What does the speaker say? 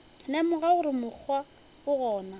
lemoga gore mokgwa o gona